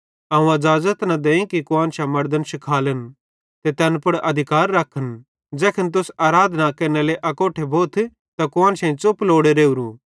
अवं अज़ाज़त न देईं कि कुआन्शां मड़दन शिखालन ते तैन पुड़ अधिकार रखन ज़ैखन तुस आराधना केरनेरे लेइ अकोट्ठे भोथ त कुआन्शेईं च़ुप लोड़े रावरू